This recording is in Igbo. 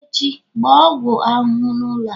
Echi, gbaa ọgwụ ahụhụ n'ụlọ a